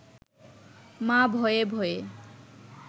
মা ভয়ে ভয়ে